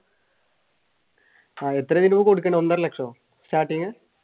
എത്ര രൂപ കൊടുക്കണം ഒന്നര ലക്ഷമോ? starting